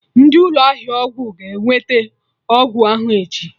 Ndị ụlọ ahịa ọgwụ ga-eweta ọgwụ ahụ echi